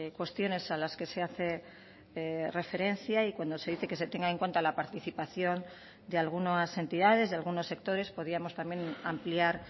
cuestiones alas que se hace referencia y cuando se dice que se tenga en cuenta la participación de algunas entidades de algunos sectores podíamos también ampliar